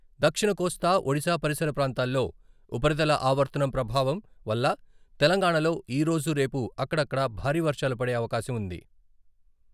దక్షిణ కోస్తా, ఒడిశా పరిసర ప్రాంతాల్లో ఉపరితల ఆవర్తనం ప్రభావం వల్ల తెలంగాణలో ఈ రోజు, రేపు అక్కడక్కడా భారీ వర్షాలు పడే అవకాశం ఉంది.